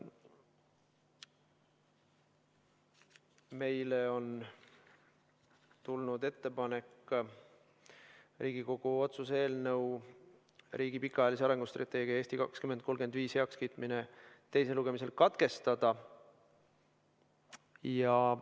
Meile on tulnud ettepanek Riigikogu otsuse "Riigi pikaajalise arengustrateegia "Eesti 2035" heakskiitmine" eelnõu teisel lugemisel katkestada.